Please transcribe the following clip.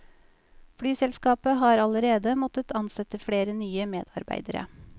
Flyselskapet har allerede måttet ansette flere nye medarbeidere.